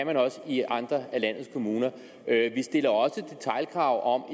man også i andre af landets kommuner vi stiller også detailkrav om